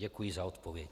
Děkuji za odpověď.